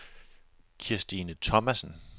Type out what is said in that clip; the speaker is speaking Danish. Kirstine Thomassen